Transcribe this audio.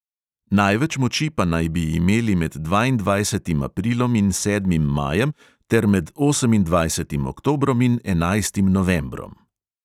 Največ moči pa naj bi imeli med dvaindvajsetim aprilom in sedmim majem ter med osemindvajsetim oktobrom in enajstim novembrom.